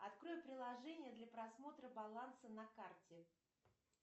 открой приложение для просмотра баланса на карте